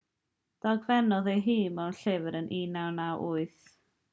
dogfennodd e ei hun mewn llyfr ym 1998